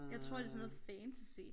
Jeg tror det sådan noget fantasy